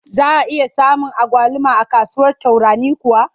Za a iya samun agwaluma a kasuwar Tarauni kuwa?